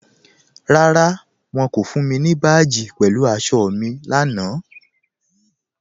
Rárá, wọ́n kò fún mi ni báàjì pẹ̀lú àṣọ̀ mi lánà.